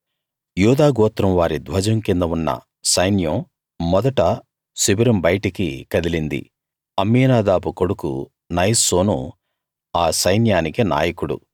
యూదా గోత్రం వారి ధ్వజం కింద ఉన్న సైన్యం మొదట శిబిరం బయటికి కదిలింది అమ్మీనాదాబు కొడుకు నయస్సోను ఆ సైన్యానికి నాయకుడు